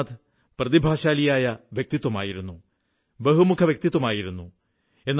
രവീന്ദ്രനാഥ് പ്രതിഭാശാലിയായ വ്യക്തിത്വമായിരുന്നു ബഹുമുഖവ്യക്തിത്വമായിരുന്നു